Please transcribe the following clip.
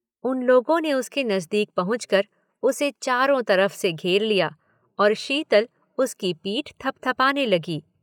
उन लोगों ने उसके नजदीक पहुंचकर उसे चारों तरफ से घेर लिया और शीतल उसकी पीठ थपथपाने लगी।